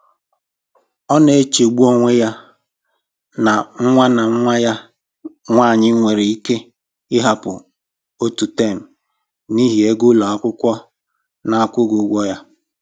Ọ na-echegbu onwe ya na nwa na nwa ya nwanyị nwere ike ịhapụ otu tem n'ihi ego ụlọ akwụkwọ na-akwụghị ụgwọ ya